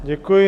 Děkuji.